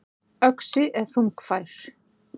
Öxi er þungfær.